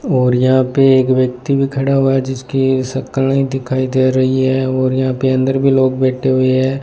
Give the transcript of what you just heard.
और यहां पे एक व्यक्ति भी खड़ा हुआ है जिसकी शकल नहीं दिखाई दे रही है और यहां पे अंदर भी लोग बैठे हुए है।